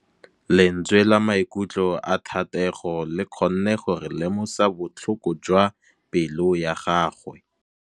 Lentswe la maikutlo a Thategô le kgonne gore re lemosa botlhoko jwa pelô ya gagwe.